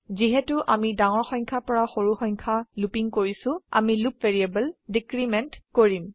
যিহেতু আমি ডাঙৰ সংখ্যা পৰা সৰু সংখ্যায় লুপিং কৰিছো আমি লুপ ভ্যাৰিয়েবল ডিক্ৰিমেন্ট কৰিম